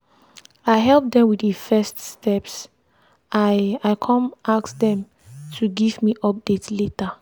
i help dem with the first steps i i come ask dem to give me update later.